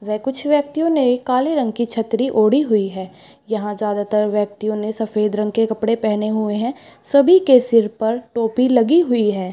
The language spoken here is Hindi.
वे कुछ व्यक्तियों ने एक काली रंग की छतरी ओढ़ी हुई है यहाँ ज्यादातर व्यक्तियों ने सफ़ेद रंग के कपड़े पहने हुए है सभी के सिर पर टोपी लगी हुई है ।